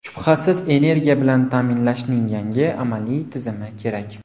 Shubhasiz, energiya bilan ta’minlashning yangi amaliy tizimi kerak.